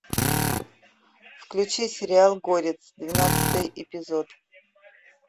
включи сериал горец двенадцатый эпизод